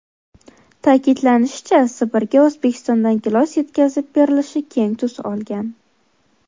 Ta’kidlanishicha, Sibirga O‘zbekistondan gilos yetkazib berilishi keng tus olgan.